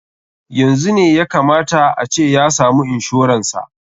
Yanzu ne ya ka mata a ce ya samu inshoran sa.